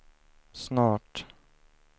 snart